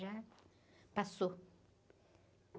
Já passou.